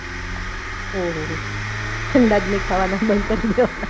ઓહોહો અંદાજ ની ખાવના બંધ કરી દ્યો હમણાં